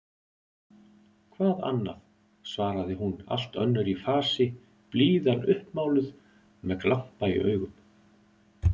Hvað annað? svaraði hún allt önnur í fasi, blíðan uppmáluð, með glampa í augum.